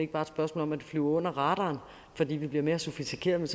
bare et spørgsmål om at flyve under radaren fordi vi bliver mere sofistikeret